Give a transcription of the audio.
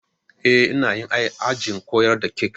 Eh, ina yi ajin koyar da kek